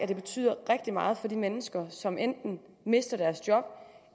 det betyder rigtig meget for de mennesker som enten mister deres job